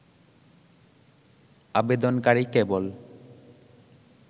আবেদনকারী কেবল